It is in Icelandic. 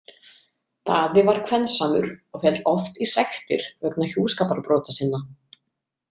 Daði var kvensamur og féll oft í sektir vegna hjúskaparbrota sinna.